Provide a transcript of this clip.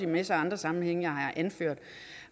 masse andre sammenhænge